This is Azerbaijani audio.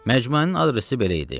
Məcmuənin adresi belə idi: